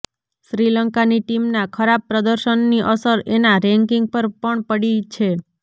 શ્રીલંકાની ટીમના ખરાબ પ્રદર્શનની અસર એના રેન્કિંગ પર પણ પડી છે